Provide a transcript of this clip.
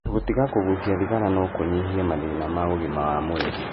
Gũtiga kũgucia thigara no kũnyihie mathĩna ma ũgima wa mwĩrĩ.